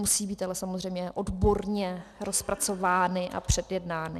Musí být ale samozřejmě odborně rozpracovány a předjednány.